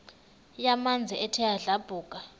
yamanzi ethe yadlabhuka